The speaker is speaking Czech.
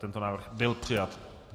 Tento návrh byl přijat.